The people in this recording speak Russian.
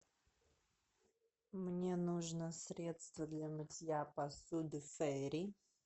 мне нужно средство для мытья посуды фейри